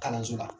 Kalanso la